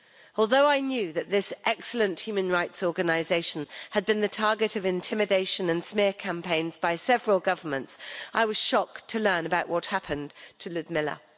Although I knew that this excellent human rights organisation had been the target of intimidation and smear campaigns by several governments, I was shocked to learn about what happened to Lyudmyla.